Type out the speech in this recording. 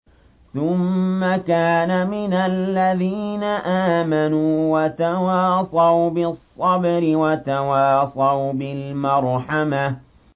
ثُمَّ كَانَ مِنَ الَّذِينَ آمَنُوا وَتَوَاصَوْا بِالصَّبْرِ وَتَوَاصَوْا بِالْمَرْحَمَةِ